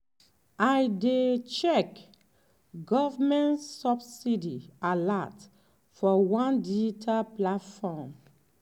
i dey check government subsidy alert for one digital platform.